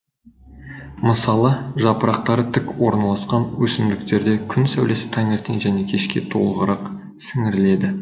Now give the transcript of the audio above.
мысалы жапырақтары тік орналасқан өсімдіктерде күн сәулесі таңертең және кешке толығырақ сіңіріледі